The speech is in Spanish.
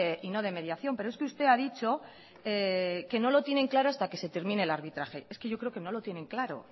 y no de mediación pero es que usted ha dicho que no lo tienen claro hasta que se termine el arbitraje es que yo creo que no lo tienen claro